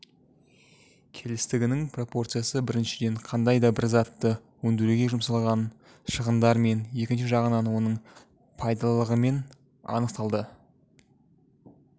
келістігінің пропорциясы біріншіден қандай да бір затты өндіруге жұмсалған шығындармен екінші жағынан оның пайдалылығымен анықталады